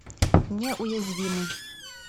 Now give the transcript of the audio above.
неуязвимый